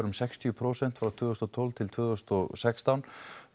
um sextíu prósent frá tvö þúsund og tólf til tvö þúsund og sextán